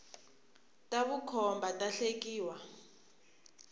ta vukhomba ta hlekia